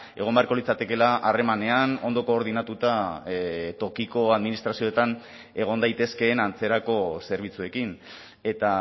egon beharko litzatekeela harremanean ondo koordinatuta tokiko administrazioetan egon daitezkeen antzerako zerbitzuekin eta